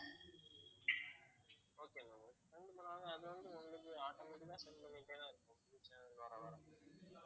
okay ma'am okay ரெண்டு மூணு நாள்ல அது வந்து உங்களுக்கு automatic ஆ send பண்ணிட்டே தான் இருப்போம் புது channel வர வர